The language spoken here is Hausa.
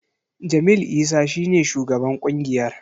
Jamil Isa shi ne shugaban ƙungiyar.